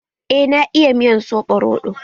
Eh na iya miyar soɓo roɗo.